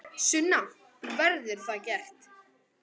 Sunna: Verður það gert?